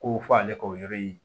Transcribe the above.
Ko fo ale ka o yɔrɔ in